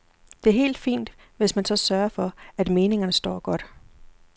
Det er helt fint, hvis man så sørger for, at meningerne står godt.